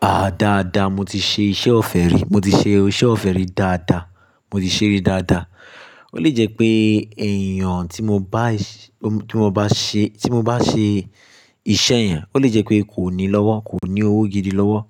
Ah! Dáadáa, mo ti ṣe iṣẹ́ ọ̀fẹ́ rí, mo ti ṣe iṣẹ́ ọ̀fẹ́ rí dáadáa, mo ti ṣẹ́ rí dáadáa. Ó lè jẹ́ pé èèyàn tí mo bá ṣe, tí mo bá ṣe, tí mo bá ṣe iṣẹ́ yẹn, ó lè jẹ́ pé kò ní lọ́wọ́, kò ní owó gidi lọ́wọ́